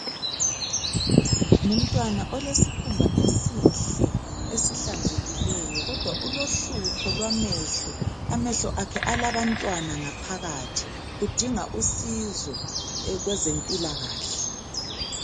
Umntwana olesikhumba esihle esihlanzekileyo kodwa ulohlupho lwamehlo, amehlo akhe alabantwana ngaphakathi udinga usizo kwezempilakahle.